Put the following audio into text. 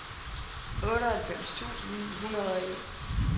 otteoghalvfems tusind ni hundrede og en